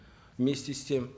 вместе с тем